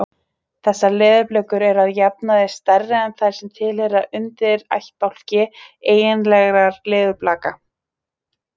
Þessar leðurblökur eru að jafnaði stærri en þær sem tilheyra undirættbálki eiginlegra leðurblaka.